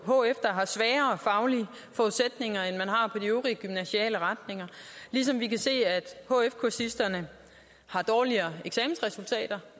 hf der har svagere faglige forudsætninger end man har på de øvrige gymnasiale retninger ligesom vi kan se at hf kursisterne har dårligere eksamensresultater